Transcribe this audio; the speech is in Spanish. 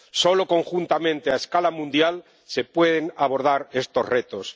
Solo conjuntamente a escala mundial se pueden abordar estos retos.